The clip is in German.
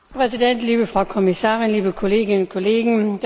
Herr Präsident! Liebe Frau Kommissarin, liebe Kolleginnen und Kollegen!